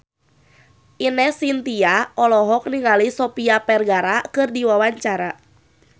Ine Shintya olohok ningali Sofia Vergara keur diwawancara